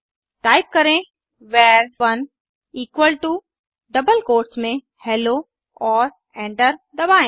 type करें वर1 equal to double quotes में हेलो और एंटर दबाएं